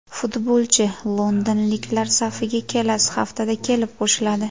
Futbolchi londonliklar safiga kelasi haftada kelib qo‘shiladi.